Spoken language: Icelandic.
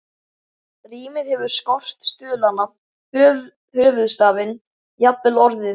Rímið hefur skort, stuðlana, höfuðstafinn, jafnvel orðin.